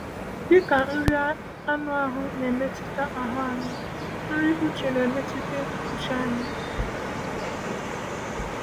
Dịka nri anụ ahụ na-emetụta ahụ anyị, nri uche na-emetụta uche anyị.